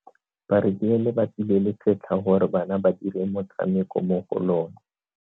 Ba rekile lebati le le setlha gore bana ba dire motshameko mo go lona.